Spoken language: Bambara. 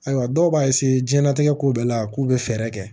Ayiwa dɔw b'a diɲɛlatigɛ ko bɛɛ la k'u bɛ fɛɛrɛ kɛ